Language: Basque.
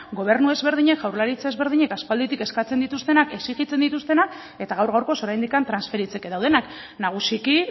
gobernu ezberdinek jaurlaritza ezberdinek aspalditik eskatzen dituztenak exigitzen dituztenak eta gaur gaurkoz oraindik transferitzeke daudenak nagusiki